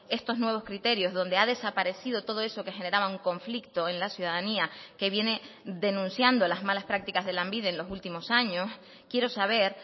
estos nuevos criterios donde ha desaparecido todo eso que generaba un conflicto en la ciudadanía que viene denunciando las malas prácticas de lanbide en los últimos años quiero saber